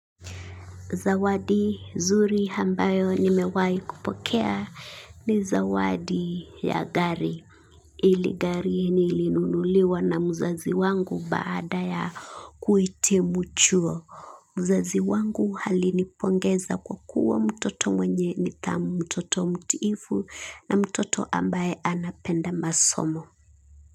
Zawadi zuri ambayo nimewahi kupokea ni zawadi ya gari hili gari nilinunuliwa na mzazi wangu baada ya kuhitimu chuo. Mzazi wangu alinipongeza kwa kuwa mtoto mwenye nidhamu mtoto mtiifu na mtoto ambaye anapenda masomo.